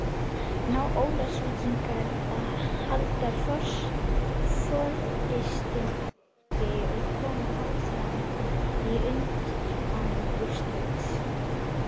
Ná Ólafsvíkingar að halda forystunni og komast áfram í undanúrslitin?